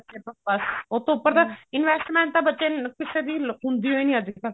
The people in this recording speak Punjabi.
ਬੱਸ ਉਹਤੋਂ ਉੱਪਰ ਤਾਂ investment ਤਾਂ ਬੱਚੇ ਕਿਸੇ ਦੀ ਹੁੰਦੀ ਓ ਨੀ ਅੱਜਕਲ